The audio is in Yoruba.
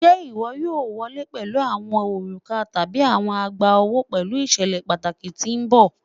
Ṣe iwọ yoo wọle pẹlu awọn oruka tabi awọn egbaowo fun iṣẹlẹ pataki ti n bọ?